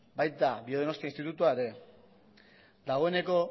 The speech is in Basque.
baita biodonostia institutua ere dagoeneko